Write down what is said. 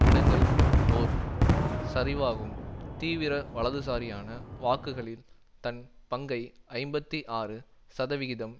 இடங்கள் ஒர் சரிவாகும் தீவிர வலதுசாரியான வாக்குகளில் தன் பங்கை ஐம்பத்தி ஆறு சதவிகிதம்